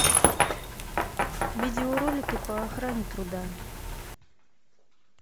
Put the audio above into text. видеоролики по охране труда